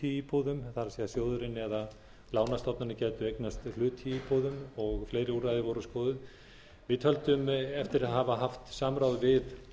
íbúðum það er sjóðurinn eða lánastofnanir gætu eignast hlut í íbúðum og fleiri úrræði voru skoðuð við töldum eftir að hafa haft samráð við alla